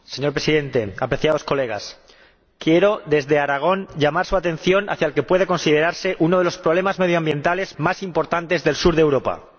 Señor Presidente, apreciados colegas, quiero, desde Aragón, llamar su atención sobre el que puede considerarse uno de los problemas medioambientales más importantes del sur de Europa.